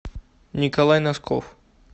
николай носков